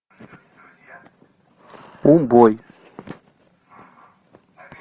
убой